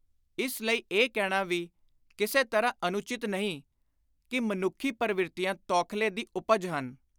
ਇਸ ਲਈ ਇਹ ਕਹਿਣਾ ਵੀ ਕਿਸੇ ਤਰ੍ਹਾਂ ਅਨੁਚਿਤ ਨਹੀਂ ਕਿ ਮਨੁੱਖੀ ਪਰਵਿਰਤੀਆਂ ਤੌਖਲੇ ਦੀ ਉਪਜ ਹਨ।